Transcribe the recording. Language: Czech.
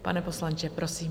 Pane poslanče, prosím.